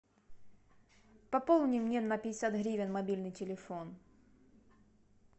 пополни мне на пятьдесят гривен мобильный телефон